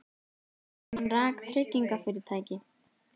Hann rak tryggingafyrirtæki.